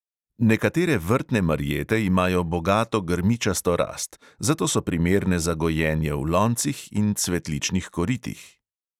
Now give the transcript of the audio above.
Nekatere vrtne marjete imajo bogato grmičasto rast, zato so primerne za gojenje v loncih in cvetličnih koritih.